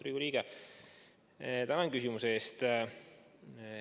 Austatud Riigikogu liige, tänan küsimuse eest!